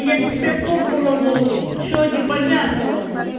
я тебе попу разорву что непонятного